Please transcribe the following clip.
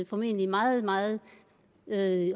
formentlig meget meget